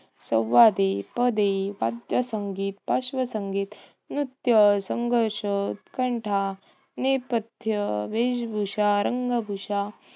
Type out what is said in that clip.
संवादे, पदे, पार्थसंगीत, पार्शवसंगीत, नृत्य, संघर्ष, उत्कंठा, नेपथ्य, वेशभूषा, रंगभूषा